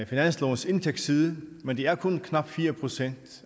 finanslovens indtægtsside men det er kun knap fire procent